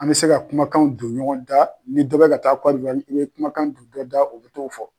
An bɛ se ka kumakan don ɲɔgɔn da ni da bɛ ka taa Cɔte divoiri, i bɛ kumakan dun dɔ daa da u bɛ t'o fɔ.